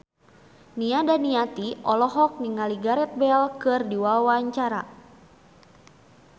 Nia Daniati olohok ningali Gareth Bale keur diwawancara